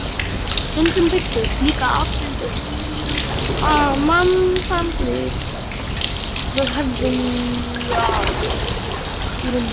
Stundum birtust líka afmynduð mannsandlit við höfðalagið í rúminu mínu.